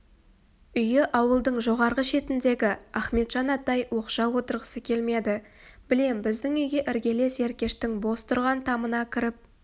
үйі ауылдың жоғарғы шетіндегі ахметжан атай оқшау отырғысы келмеді білем біздің үйге іргелес еркештің бос тұрған тамына кіріп